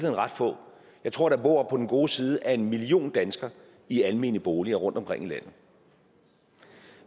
ret få jeg tror der bor på den gode side af en million danskere i almene boliger rundtomkring i landet